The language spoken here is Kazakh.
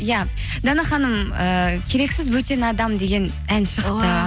иә дана ханым ыыы керексіз бөтен адам деген ән